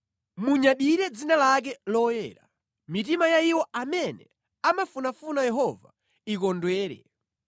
Munyadire dzina lake loyera; mitima ya iwo amene amafunafuna Yehova ikondwere.